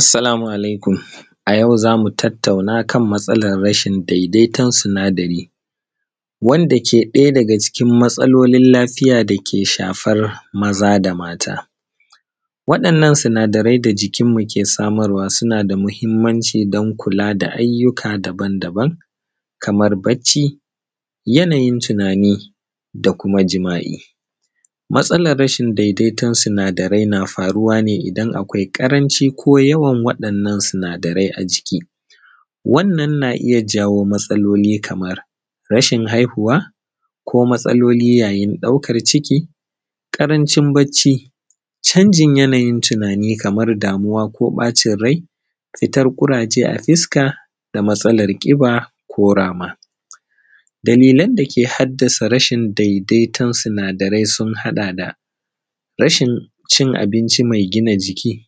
Assalamu alaikum. A yau za mu tattauna kan matsala rashin daidaiton sinadari, wanda ke ɗaya daga cikin matsalolin lafiya da ke shafar maza da mata. Waɗannan sinadarai da jikin mu ke samarwa suna da matuƙar mahimanci, don kula da ayyuka daban daban, kamar bacci, yanayin tunani, da kuma jima'i. Matsalar rashin daidaiton sinadarai na faruwane idan akwai ƙaranci ko yawan waɗannan sinadarai a jiki. Wannan na iya jawo matsaloli kamar: Rashin haihuwa, Ko matsalolin yayin ɗaukan ciki, Ƙarancin ƙarancin bacci, Canjin yanayin tunani kamar damwa ko ɓacin rai, Fitar ƙuraje a fuska, Da matsalar ƙiba ko rama. Dalilan da ke haddasa rashin daidaiton sinadarai sun haɗa da: Rashin cin abinchi mai gina jiki,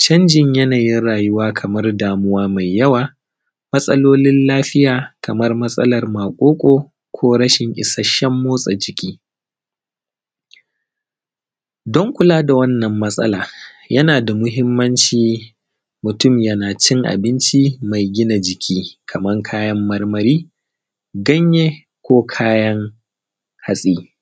Canjin yanayin rayuwa, Damuwa mai yawa, Matsalolin lafiya kamar matsalar maƙoƙo, Ko rashin ishashen mortsa jiki. Don kula da wannan matsalar, yana da mahimanci mutum yana cin abunchi mai gina jiki, kamar kayan marmari, kanye, ko kayan hatsi.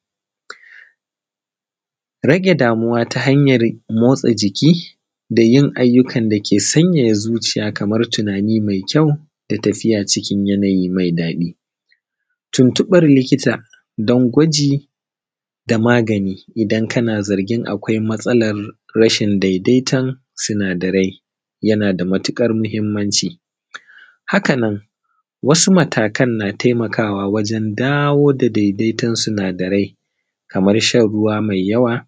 Rage damwa ta hanyan mortsa jiki, da yin ayyukan da ke sanyaya zuciya, kamar tunani mai kyau, da tafiya cikin yanayin mai daɗi. Tuntuɓar likita don gwaji da magani idan kana zargin akwai matsalar rashin daidaiton sinadarai, yana da matuƙar mahimanci. Hakanan, wasu matakan na taimakawa wajen dawo da daidaiton sinadarai kamar: Shan ruwa mai yawa,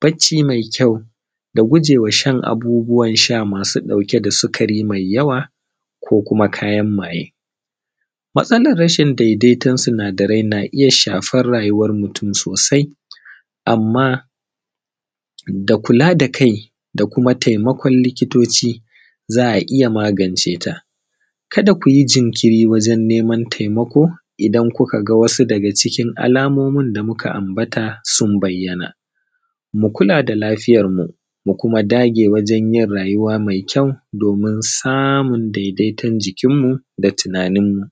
Bacci mai kyau, Da gujewa shan abubbuwan sha masu ɗauke da sukari mai yawa, Ko kuma kayan maye. Matsalar rashin daidaiton sinadarai na iya shafar rayuwan mutum sosai, amma da kula da kai, da kuma taimakon likitoci, za a iya maganceta. Kada ku yi jinkiri wajen neman taimako idan kuka ga wasu daga cikin alamomin da muka ambata sun bayyana. Mu kula da lafiyarmu, mu kuma dage wajen yin rayuwa mai kyau, domin samun daidaiton jikin mu da rayuwan mu.